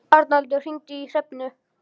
Arnaldur, hringdu í Hrefnu.